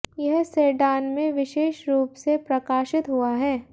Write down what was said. यह सेडान में विशेष रूप से प्रकाशित हुआ है